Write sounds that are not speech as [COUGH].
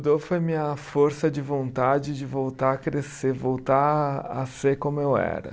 [UNINTELLIGIBLE] foi minha força de vontade de voltar a crescer, voltar a ser como eu era.